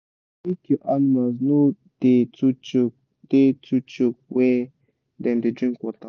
make your animals no da too choke da too choke where dem da drink water